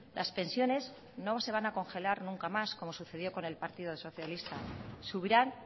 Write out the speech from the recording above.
las pensiones no se van a congelar nunca más como sucedió con el partido socialista subirán